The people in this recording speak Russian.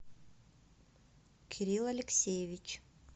кирилл алексеевич